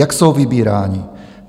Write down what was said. Jak jsou vybíráni?